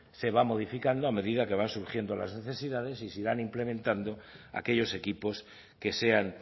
se va modificando a medida que van surgiendo las necesidades y se irán implementando aquellos equipos que sean